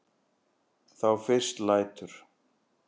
Þá fyrst lætur